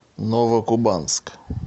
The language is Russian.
новокубанск